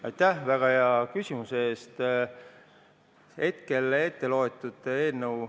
Aitäh väga hea küsimuse eest!